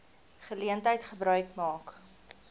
geleentheid gebruik maak